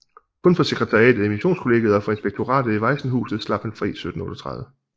Kun for sekretariatet i Missionskollegiet og for inspektoratet i Vajsenhuset slap han fri 1738